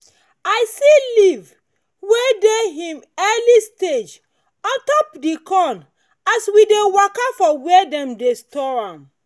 i see leave wey dey hin early stage ontop the corn as we dey waka for where them dey store am